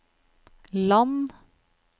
land